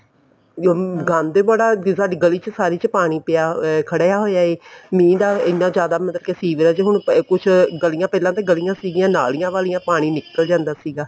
ਅਮ ਗੰਦ ਹੈ ਬੜਾ ਅੱਗੇ ਸਾਡੀ ਗਲੀ ਚ ਸਾਰੀ ਚ ਪਾਣੀ ਖੜਿਆ ਹੋਇਆ ਹੈ ਮੀਂਹ ਦਾ ਇੰਨਾ ਜਿਆਦਾ ਮਤਲਬ ਕੇ ਸੀਵਰੇਜ ਹੁਣ ਕੁੱਝ ਗਲੀਆਂ ਪਹਿਲਾਂ ਤੇ ਗਲੀਆਂ ਸਿਗੀਆ ਨਾਲੀਆਂ ਵਾਲੀਆਂ ਪਾਣੀ ਨਿਕਲ ਜਾਂਦਾ ਸੀਗਾ